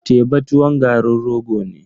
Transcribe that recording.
Teba tuwon garin rogo ne.